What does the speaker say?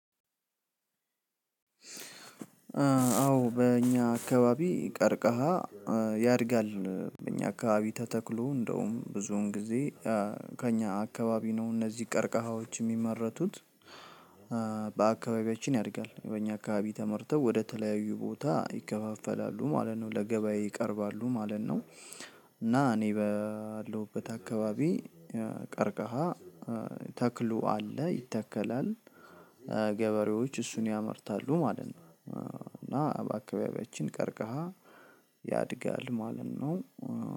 አዎ በእኛ አካባቢ ቀርከሐ ያድጋል እኛ አካባቢ ተተክሎ። እንደውም ብዙን ጊዜ ከእኛ አካባቢ እነዚህ ቀርከሐዎች የሚመረቱት። በአካባቢያችን ያድጋል። በእኛ አካባቢ ተመርተው ወደ ተለያዩ ቦታ ይከፋፈላሉ ማለት ነው ለገበያ ይቀርባሉ ማለት ነው። እና እኔ ባለሁበት አካባቢ ቀርከሐ ተክሉ አለ ይተከላል። ገበሬዎች እሱን ያመርታሉ ማለት ነው። እና በአካባቢያችን ቀርከሐ ያድጋል ማለት ነው።